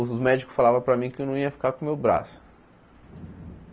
Os os médicos falavam para mim que eu não ia ficar com o meu braço.